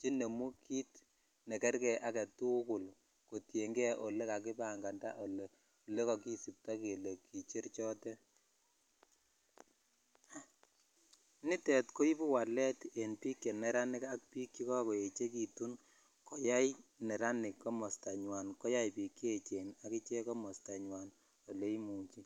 chenemu kit nekerge agetugul kotiengee olekakipanganda olekokisipto kele kicher chotetnitet koibu walet en biik cheneranik ak biik chekoko echekitu koyai neranik komostanywan koyai biik cheechen akichek komostanywan oleimuche.